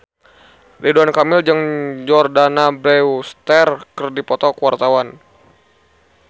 Ridwan Kamil jeung Jordana Brewster keur dipoto ku wartawan